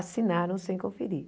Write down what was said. Assinaram sem conferir.